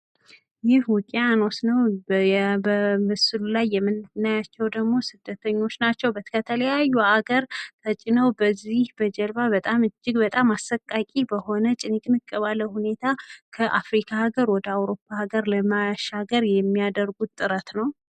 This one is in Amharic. ጉዞ የትራንስፖርት አገልግሎትን ይጠቀማል። ቱሪዝም የአካባቢውን ባህልና ወግ ሊያጎለብት ወይም ሊጎዳ ይችላል። ስደተኞች የስራ ዕድል ፍለጋ ወደ አዲስ ሀገር ይሄዳሉ።